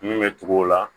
Mun bɛ tugu o la